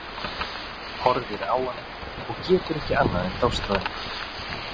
Horfir á hana og getur ekki annað en dáðst að henni.